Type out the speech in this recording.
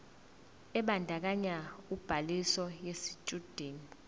ebandakanya ubhaliso yesitshudeni